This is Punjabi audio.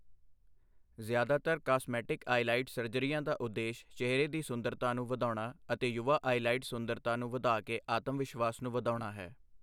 ਜ਼ਿਆਦਾਤਰ ਕਾਸਮੈਟਿਕ ਆਈਲਾਈਡ ਸਰਜਰੀਆਂ ਦਾ ਉਦੇਸ਼ ਚਿਹਰੇ ਦੀ ਸੁੰਦਰਤਾ ਨੂੰ ਵਧਾਉਣਾ ਅਤੇ ਯੁਵਾ ਆਈਲਾਈਡ ਸੁੰਦਰਤਾ ਨੂੰ ਵਧਾ ਕੇ ਆਤਮਵਿਸ਼ਵਾਸ ਨੂੰ ਵਧਾਉਣਾ ਹੈ।